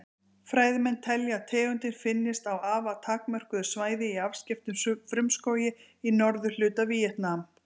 Fræðimenn telja að tegundin finnist á afar takmörkuðu svæði í afskekktum frumskógi í norðurhluta Víetnam.